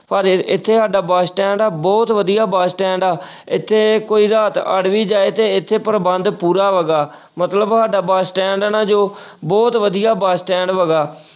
ਪਰ ਇ~ ਇੱਥੇ ਸਾਡਾ ਬਸ ਸਟੈਂਡ ਆ ਬਹੁਤ ਵਧੀਆ ਬਸ ਸਟੈਂਡ ਆ ਇੱਥੇ ਕੋਈ ਰਾਤ ਅੜ ਵੀ ਜਾਏ ਤੇ ਇੱਥੇ ਪ੍ਰਬੰਧ ਪੂਰਾ ਹੈਗਾ ਮਤਲਬ ਸਾਡਾ ਬਸ ਸਟੈਂਡ ਹੈ ਨਾ ਜੋ ਬਹੁਤ ਵਧੀਆ ਬਸ ਸਟੈਂਡ ਹੈਗਾ।